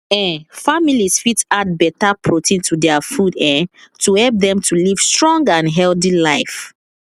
um families fit add better protein to their food um to help dem to live strong and healthy life